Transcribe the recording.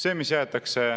Ei vasta.